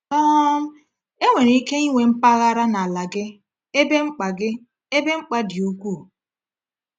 um Enwere ike inwe mpaghara n’ala gị ebe mkpa gị ebe mkpa dị ukwuu.